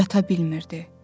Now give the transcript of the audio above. Yata bilmirdi.